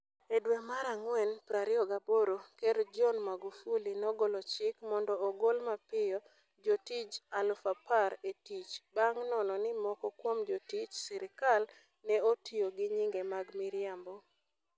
E dwe mara ngwen 28, Ker John Magufuli nogolo chik mondo ogol mapiyo jotich 10,000 e tich bang ' nono ni moko kuom jotich sirkal ne otiyo gi nyinge mag miriambo.